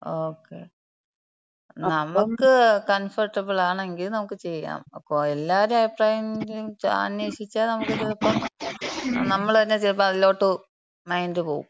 Okay. നമുക്ക് comfortable ആണെങ്കി നമുക്ക് ചെയ്യാം. ഇപ്പൊ എല്ലാരെയും അഭിപ്രായം അന്വേഷിച്ചാ നമുക്ക് ചിലപ്പം നമ്മള് തന്നെ ചെലപ്പോ അതിലോട്ട് മൈൻഡ് പോവും.